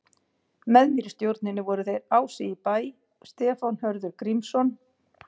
Með mér í stjórninni voru þeir Ási í Bæ, Stefán Hörður Grímsson